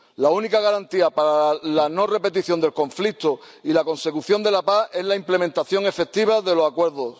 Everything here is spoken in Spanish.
La única garantía para la no repetición del conflicto y la consecución de la paz es la implementación efectiva de los acuerdos.